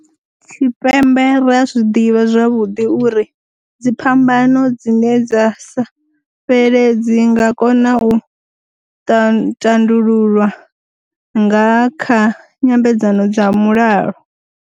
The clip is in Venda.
Tshipembe ri a zwi ḓivha zwavhuḓi, uri dziphambano dzine dza sa fheledzi nga kona u tandululwa nga kha nyambedzano dza mulalo.